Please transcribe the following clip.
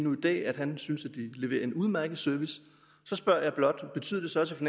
dag at han synes de leverer en udmærket service så spørger jeg blot betyder det så også